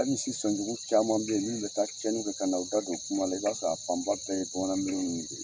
Hali misi sɔnjugu caman bɛ minnu bɛ taa cɛnni kɛ ka n'u da don kuma la i b'a sɔrɔ fanba bɛɛ ye bamanan de ye.